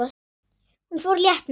Hún fór létt með það.